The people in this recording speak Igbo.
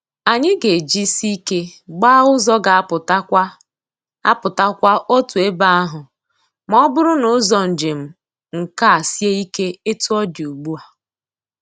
Anyị ga-ejisi ike gbaa ụzọ ga apụta kwa apụta kwa otu ebe ahụ ma ọ bụrụ na ụzọ njem nke a sie ike etu ọ dị ugbu a.